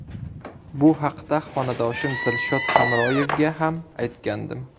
Bu haqda xonadoshim Dilshod Hamroyevga ham aytgandim.